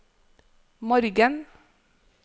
morgen